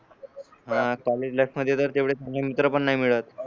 हा शाळेत देतात तेवढं नंतर पण नाय मिळत